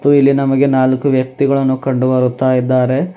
ಹಾಗು ಇಲ್ಲಿ ನಮಗೆ ನಾಲ್ಕು ವ್ಯಕ್ತಿಗಳನ್ನು ಕಂಡು ಬರುತ್ತಾ ಇದ್ದಾರೆ.